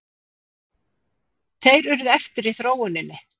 Þeir urðu eftir í þróuninni.